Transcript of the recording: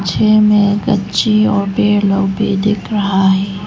छे में एक अच्छी ओ पेड़ लोग भी दिख रहा है।